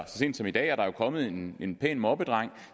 sent som i dag er der jo kommet en en pæn moppedreng